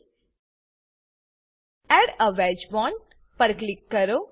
add a wedge bond add a wedged bond પર click કરો